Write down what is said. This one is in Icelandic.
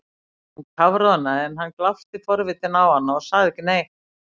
Hún kafroðnaði en hann glápti forvitinn á hana og sagði ekki neitt.